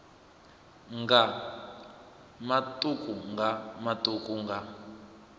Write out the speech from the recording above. nga matuku nga matuku nga